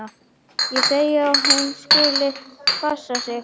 Ég segi að hún skuli bara passa sig.